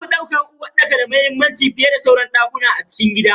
An fi daukar uwarɗaka da muhimmanci fiyeda sauran dakuna a cikin gida.